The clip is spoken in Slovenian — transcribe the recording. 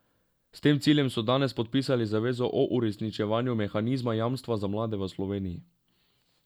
S tem ciljem so danes podpisali zavezo o uresničevanju mehanizma Jamstva za mlade v Sloveniji.